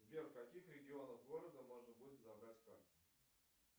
сбер в каких регионах города можно будет забрать карту